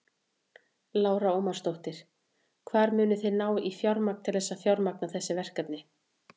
Lára Ómarsdóttir: Hvar munið þið ná í fjármagn til þess að fjármagna þessi verkefni?